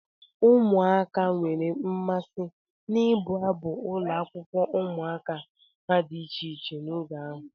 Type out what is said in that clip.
Ụmụaka nwere mmasị n'ịbụ abụ ụlọakwụkwọ ụmụaka ha dị iche iche n'oge ahụ.